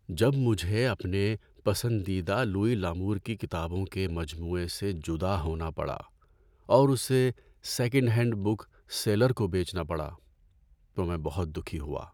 جب مجھے اپنے پسندیدہ لوئی لمور کی کتابوں کے مجموعے سےجدا ہونا پڑا اور اسے سیکنڈ ہینڈ بک سیلر کو بیچنا پڑا، تو میں بہت دکھی ہوا۔